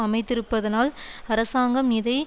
அமைந்திருப்பதனால் அரசாங்கம் இதை